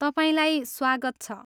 तपाईँलाई स्वागत छ।